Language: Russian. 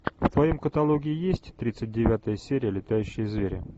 в твоем каталоге есть тридцать девятая серия летающие звери